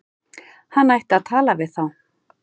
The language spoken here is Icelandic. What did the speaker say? Hann ætti að tala við þá.